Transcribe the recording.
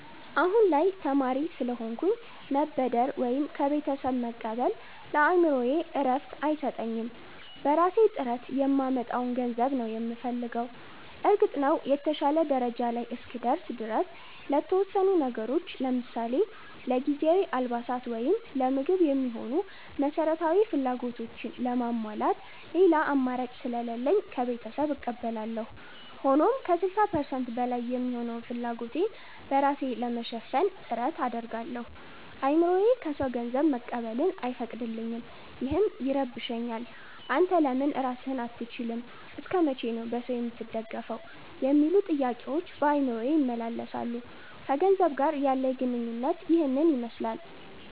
አሁን ላይ ተማሪ ስለሆንኩኝ ገንዘብ መበደር ወይም ከቤተሰብ መቀበል ለአእምሮዬ እረፍት አይሰጠኝም። በራሴ ጥረት የማመጣውን ገንዘብ ነው የምፈልገው። እርግጥ ነው፣ የተሻለ ደረጃ ላይ እስክደርስ ድረስ ለተወሰኑ ነገሮች ለምሳሌ ለጊዜያዊ አልባሳት ወይም ለምግብ የሚሆኑ መሠረታዊ ፍላጎቶችን ለማሟላት ሌላ አማራጭ ስለሌለኝ ከቤተሰብ እቀበላለሁ። ሆኖም ከ60% በላይ የሚሆነውን ፍላጎቴን በራሴ ለመሸፈን ጥረት አደርጋለሁ። አእምሮዬ ከሰው ገንዘብ መቀበልን አይፈቅድልኝም፤ ይህም ይረብሸኛል። 'አንተ ለምን ራስህን አትችልም? እስከ መቼ ነው በሰው የምትደገፈው?' የሚሉ ጥያቄዎች በአእምሮዬ ይመላለሳሉ። ከገንዘብ ጋር ያለኝ ግንኙነት ይህንን ይመስላል።